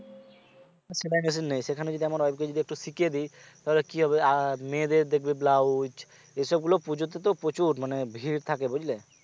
সেলাই machine নেই সেখানে যদি আমার wife কে যদি একটু শিখিয়ে দেই তাহলে কি হবে আহ মেয়েদের দেখবে blouse এসব গুলো পুজোতে তো প্রচুর মানে ভিড় থাকে বুঝলে